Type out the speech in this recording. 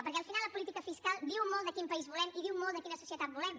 perquè al final la política fiscal diu molt de quin país volem i diu molt de quina societat volem